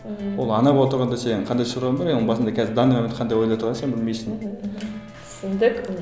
отырғанда сенің қандай шаруаң бар е оның басында қазір в данный момент қандай ойда отырғанын сен білмейсің мхм түсіндік